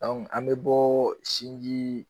an bɛ bɔ sinji